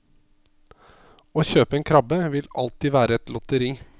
Å kjøpe en krabbe vil alltid være et lotteri.